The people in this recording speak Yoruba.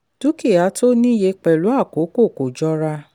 dúkìá tó ní iye pẹ̀lú àkókò kó jọra.